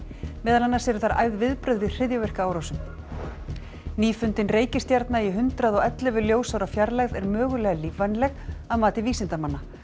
meðal annars eru þar æfð viðbrögð við hryðjuverkaárásum reikistjarna í hundrað og ellefu ljósaára fjarlægð er mögulega lífvænleg að mati vísindamanna